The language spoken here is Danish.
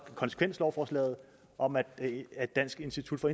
konsekvenslovforslaget om at dansk institut for